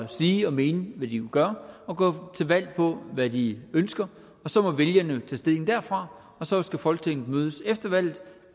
sige og mene hvad de gør og gå til valg på hvad de ønsker og så må vælgerne tage stilling derfra og så skal folketinget mødes efter valget